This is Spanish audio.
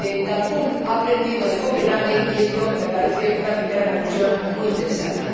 Cancún ha aprendido de Copenhague, y esto me parece una primera conclusión muy interesante.